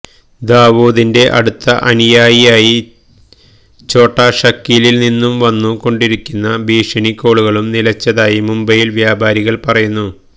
ദാവൂദിന്റെ അടുത്ത അനുയായി ഛോട്ടാ ഷക്കീലിൽ നിന്നു വന്നു കൊണ്ടിരുന്ന ഭീഷണി കോളുകളും നിലച്ചതായി മുംബൈയിലെ വ്യാപാരികളും പറയുന്നു